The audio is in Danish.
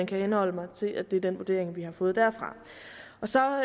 kan henholde mig til at det er den vurdering vi har fået derfra så